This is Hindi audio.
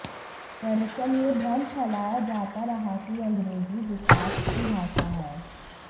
दरअसल यह भ्रम फैलाया जाता रहा कि अंग्रेजी विकास की भाषा है